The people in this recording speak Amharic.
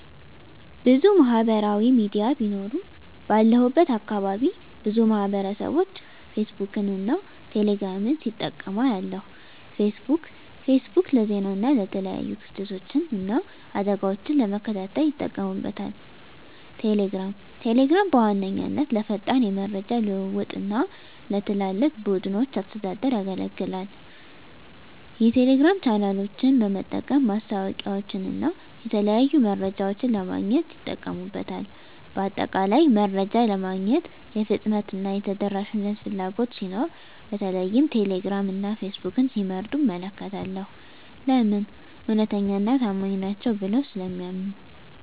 **ብዙ ማህበራዊ ሚዲያ ቢኖሩም፦ ባለሁበት አካባቢ ብዙ ማህበረሰብቦች ፌስቡክን እና ቴሌ ግራምን ሲጠቀሙ አያለሁ፤ * ፌስቡክ: ፌስቡክ ለዜና እና የተለያዩ ክስተቶችን እና አደጋወችን ለመከታተል ይጠቀሙበታል። * ቴሌግራም: ቴሌግራም በዋነኛነት ለፈጣን የመረጃ ልውውጥ እና ለትላልቅ ቡድኖች አስተዳደር ያገለግላል። የቴሌግራም ቻናሎችን በመጠቀም ማስታወቂያወችንና የተለያዩ መረጃዎችን ለማግኘት ይጠቀሙበታል። በአጠቃላይ፣ መረጃ ለማግኘት የፍጥነትና የተደራሽነት ፍላጎት ሲኖር በተለይም ቴሌግራም እና ፌስቡክን ሲመርጡ እመለከታለሁ። *ለምን? እውነተኛና ታማኝ ናቸው ብለው ስለሚያምኑ።